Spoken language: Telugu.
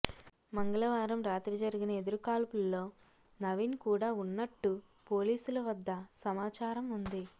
మంగళవారం రాత్రి జరిగిన ఎదురుకాల్పుల్లో నవీన్ కూడా ఉన్నట్టు పోలీసుల వద్ద సమాచారం ఉంది